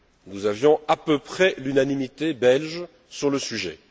Nous avions à peu près l'unanimité belge sur le sujet.